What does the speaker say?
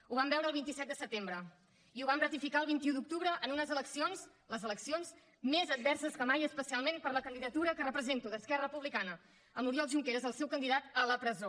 ho vam veure el vint set de setembre i ho vam ratificar el vint un d’octubre en unes eleccions les eleccions més adverses que mai especialment per a la candidatura que represento d’esquerra republicana amb l’oriol junqueras el seu candidat a la presó